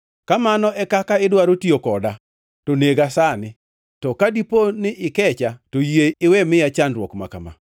Ka mano e kaka idwaro tiyo koda, to nega sani, to ka dipo ni ikecha, to yie iwe miya chandruok ma kama.”